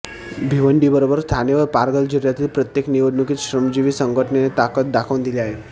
भिवंडीबरोबरच ठाणे व पालघर जिल्ह्यातील प्रत्येक निवडणुकीत श्रमजीवी संघटनेने ताकद दाखवून दिली आहे